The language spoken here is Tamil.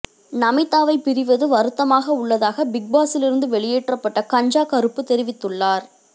நமீதாவை பிரிவது வருத்தமாக உள்ளதாக பிக் பாஸிலிருந்து வெளியேற்றப்பட்ட கஞ்சா கருப்பு தெரிவித்துள்ளார்